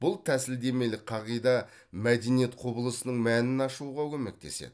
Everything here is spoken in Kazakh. бұл тәсілдемелік қағида мәдениет құбылысының мәнін ашуға көмектеседі